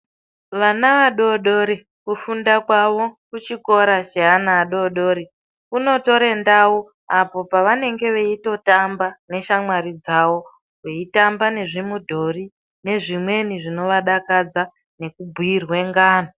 Vana vadodori kufunda kwavo kuchikora cheana adodori kunotora ndau apa pavanenge veitotamba neshamwari dzavo veitamba nezvimudhori nezvimwe zvinovadakadza nekubhiirwe ngano.